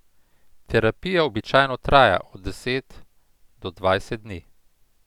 Terapija običajno traja od deset do dvajset dni.